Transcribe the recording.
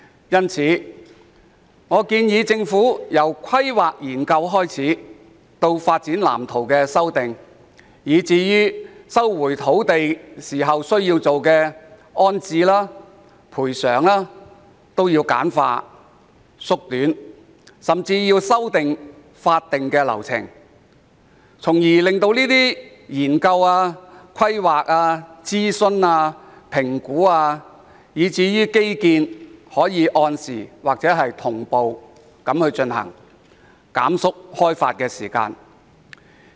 因此，我建議政府簡化土地規劃及研究，以至修訂發展藍圖的各項流程，並改良徵收土地的安置及賠償政策，甚至修訂法定流程，從而令有關研究、規劃、諮詢、評估以至基建可按時或同步進行，縮短開發時間。